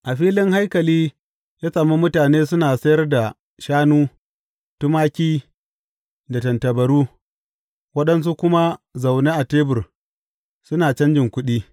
A filin haikali ya sami mutane suna sayar da shanu, tumaki da tattabaru, waɗansu kuma zaune a tebur suna canjin kuɗi.